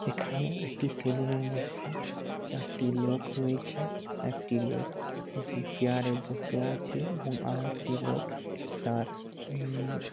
এখানে একটি সেলুনের মধ্যে চারটি লোক রয়েছে একটি লোক উ উ চেয়ারে বসে আছে এবং আর একটি লোক তার উম --